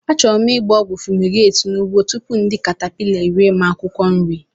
Achọrọ m gba ogwu fumigate n'ugbo tupu ndị a caterpillars eri m akwukwo nri.